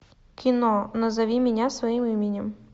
кино назови меня своим именем